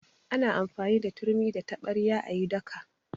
Ana amfani da turmi da taɓarya a yi daka.